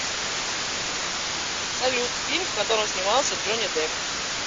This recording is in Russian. салют фильм в котором снимался джони деп